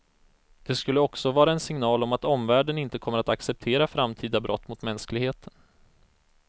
Det skulle också vara en signal om att omvärlden inte kommer att acceptera framtida brott mot mänskligheten.